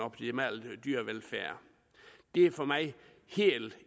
optimal dyrevelfærd det er for mig helt